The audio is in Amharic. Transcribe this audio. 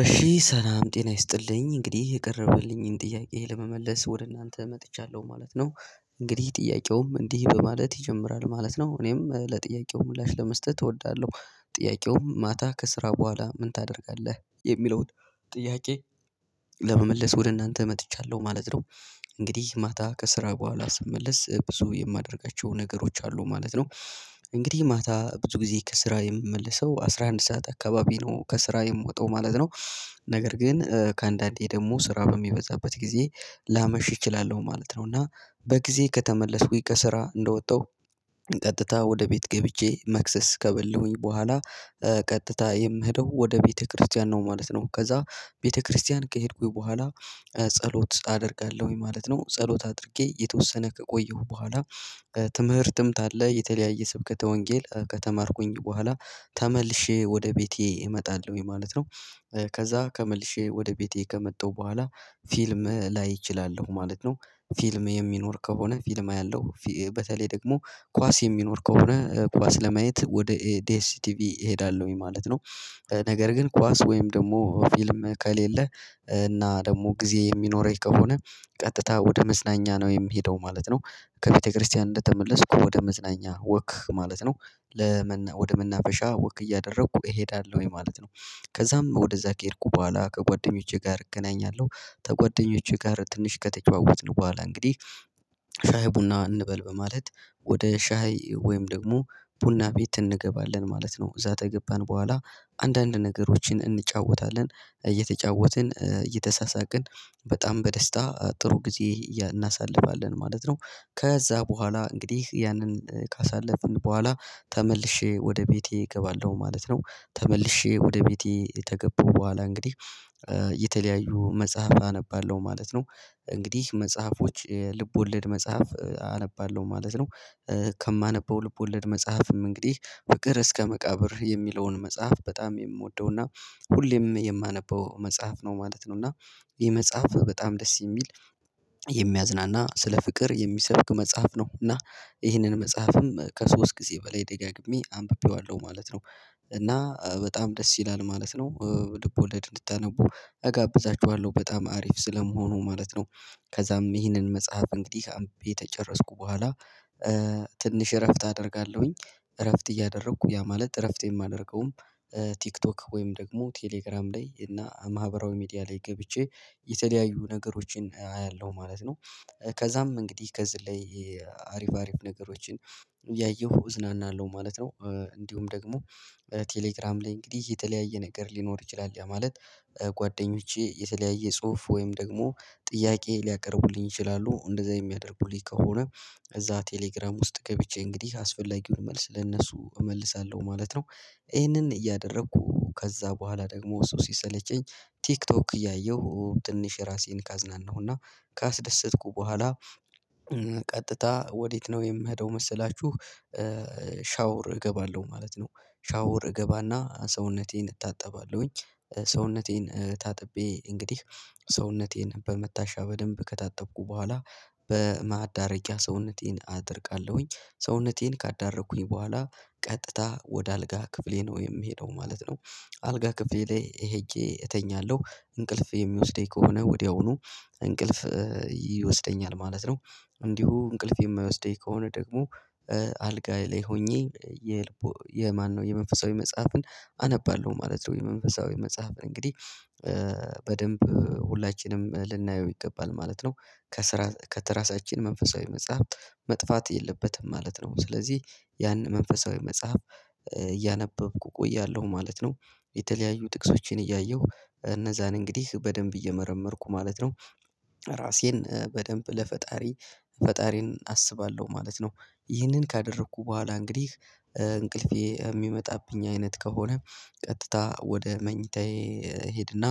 እሺ ሰላም ጤና ይስጥልኝ እንግዲህ የቀረበልኝን ጥያቄ ለመመለስ ወደ እናንተ መጥቻለሁ ማለት ነው። እንግዲህ ጥያቄውም እንዲህ በማለት ይጀምራል ማለት ነው። እኔም ለጥያቄው ምላሽ ለመስጠት እወዳለሁ። ጥያቄው ማታ ከስራ በኋላ ምን ታደርጋለህ የሚለውን ጥያቄ? ለመመለስ ወደ እናንተ መጥቻለሁ ማለት ነው። እንግዲህ ማታ ከስራ በኋላ ስመለስ ብዙ የማደርጋቸው ነገሮች አሉ ማለት ነው። እንግዲህ ማታ ብዙ ጊዜ ከስራ የምመልሰው አስራ አንድ ሰዓት አካባቢ ነው ከስራ የምወጣው ማለት ነው። ነገር ግን ከአንዳንዴ ደግሞ ስራ በሚበዛበት ጊዜ ላመሽ እችላለሁ ማለት ነው። እና በጊዜ ከተመለስኩኝ ከስራ እንደወጣሁ ቀጥታ ወደ ቤት ገብቼ መክሰስ ከበሉኝ በኋላ ቀጥታ የምሄደው ወደ ቤተክርስቲያን ነው ማለት ነው። ከዛ ቤተክርስቲያን ከሄድኩኝ በኋላ ጸሎት አደርጋለሁኝ ማለት ነው ጸሎት አድርጌ የተወሰነ ከቆየሁ በኋላ። ትምህርትም ታለ የተለያየ ስብከተ ወንጌል ከተማርኩኝ በኋላ ተመልሼ ወደ ቤቴ እመጣለሁ ማለት ነው። ከዛ ከመልሼ ወደ ቤቴ ከመጣሁ በኋላ ፊልም ላይ እችላለሁ ማለት ነው ፊልም የሚኖር ከሆነ ፊልም ያለው በተለይ ደግሞ ኳስ የሚኖር ከሆነ ኳስ ለማየት ወደ ዲኤስ ቲቪ እሄዳለሁኝ ማለት ነው። ነገር ግን ኳስ ወይም ደግሞ ፊልም ከሌለ እና ደግሞ ጊዜ የሚኖረኝ ከሆነ ቀጥታ ወደ መዝናኛ ነው የምሄደው ማለት ነው። ከቤተክርስቲያን እንደተመለስኩ ወደ መዝናኛ ወክ ማለት ነው ለመና ወደ መናበሻ ወክ እያደረኩ እሄዳለሁኝ ማለት ነው። ከዛም ወደዛ ከሄድኩ በኋላ ከጓደኞቼ ጋር እገናኛለሁ ከጓደኞቼ ጋር ትንሽ ከተጨዋወትን በኋላ እንግዲህ ሻይ ቡና እንበል በማለት ወደ ሻይ ወይም ደግሞ ቡና ቤት እንገባለን ማለት ነው። እዛ ከገባን በኋላ አንዳንድ ነገሮችን እንጫወታለን እየተጫወትን እየተሳሳቅን በጣም በደስታ ጥሩ ጊዜ እናሳልፋለን ማለት ነው። ከዛ በኋላ እንግዲህ ያንን ካሳለፍን በኋላ ተመልሼ ወደ ቤቴ እገባለሁ ማለት ነው ተመልሼ ወደ ቤቴ ከገበው በኋላ እንግዲህ የተለያዩ መጽሐፍ አነባለሁ ማለት ነው። እንግዲህ መጽሐፎች የልቦለድ መጽሐፍ አነባለሁ ማለት ነው። ከማነበው ልቦለድ መጽሐፍም እንግዲህ በቅር እስከ መቃብር የሚለውን መጽሐፍ በጣም የምወደው እና ሁሌም የማነበው መጽሐፍ ነው ማለት ነው። እና ይሄ መጽሐፍ በጣም ደስ የሚል የሚያዝናና ስለ ፍቅር የሚሰብክ መጽሐፍ ነው። እና ይህንን መጽሐፍም ከሶስት ጊዜ በላይ ደጋግሜ አንብቤዋለሁ ማለት ነው። እና በጣም ደስ ይላል ማለት ነው ልቦለድ እንድትአነቡ እጋብዛችኋለሁ በጣም አሪፍ ስለመሆኑ ማለት ነው። ከዛም ይህንን መጽሐፍ እንግዲህ አምቢ የተጨረስኩ በኋላ ትንሽ እረፍት አደርጋለሁኝ። እረፍት እያደረኩ ያ ማለት እረፍት የማደርገውም ቲክቶክ ወይም ደግሞ ቴሌግራም ላይ እና ማህበራዊ ሚዲያ ላይ ገብቼ የተለያዩ ነገሮችን አያለሁ ማለት ነው። ከዛም እንግዲህ ከዚህ ላይ አሪፍ አሪፍ ነገሮችን ያየሁ እዝናናለሁ ማለት ነው። እንዲሁም ደግሞ ቴሌግራም ላይ እንግዲህ የተለያየ ነገር ሊኖር ይችላል ያ ማለት። ጓደኞቼ የተለያየ ጽሁፍ ወይም ደግሞ ጥያቄ ሊያቀርቡልኝ ይችላሉ እንደዛ የሚያደርጉልኝ ከሆነ እዛ ቴሌግራም ውስጥ ገብቼ እንግዲህ አስፈላጊውን መልስ ለእነሱ እመልሳለሁ ማለት ነው። ይህንን እያደረኩ ከዛ በኋላ ደግሞ እሱ ሲሰለቸኝ ቲክቶክ እያየሁ ትንሽ ራሴን ካዝናነሁ እና ካስደሰትኩ በኋላ ቀጥታ ወዴት ነው የምሄደው መሰላችሁ ሻውር እገባለሁ ማለት ነው። ሻውር እገባና ሰውነቴን እታጠባለሁኝ ሰውነቴን ታጥቤ እንግዲህ ሰውነቴን በመታሻ በደንብ ከታጠቁ በኋላ በማዳረጊያ ሰውነቴን አደርጋለሁኝ ሰውነቴን ካዳረኩኝ በኋላ ቀጥታ ወደ አልጋ ክፍሌ ነው የምሄደው ማለት ነው። አልጋ ክፍሌ ላይ ሄጄ እተኛለሁ እንቅልፍ የሚወስደኝ ከሆነ ወዲያውኑ እንቅልፍ ይወስደኛል ማለት ነው። እንዲሁ እንቅልፍ የማይወስደኝ ከሆነ ደግሞ አልጋ ላይ ሆኜ የማነው የመንፈሳዊ መጽሐፍን አነባለሁ ማለት ነው። የመንፈሳዊ መጽሐፍን እንግዲህ በደንብ ሁላችንም ልናየው ይገባል ማለት ነው። ከስራ ከትራሳችን መንፈሳዊ መጽሐፍ መጥፋት የለበትም ማለት ነው። ስለዚህ ያን መንፈሳዊ መጽሐፍ እያነበብኩ እቆያለሁ ማለት ነው። የተለያዩ ጥቅሶችን እያየሁ እነዛን እንግዲህ በደንብ እየመረመርኩ ማለት ነው። ራሴን በደንብ ለፈጣሪ ፈጣሪን አስባለሁ ማለት ነው። ይህንን ካደረኩ በኋላ እንግዲህ እንቅልፌ የሚመጣብኝ አይነት ከሆነ ቀጥታ ወደ መኝታዬ እሄድና